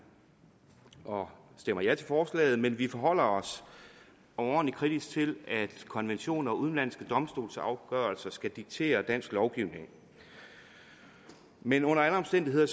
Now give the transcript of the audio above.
og stemmer ja til forslaget men vi forholder os overordentlig kritiske til at konventioner og udenlandske domstolsafgørelser skal diktere dansk lovgivning men under alle omstændigheder